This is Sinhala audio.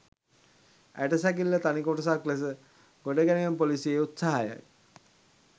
ඇටසැකිල්ල තනි කොටසක් ලෙස ගොඩ ගැනීම පොලිසියේ උත්සාහයයි.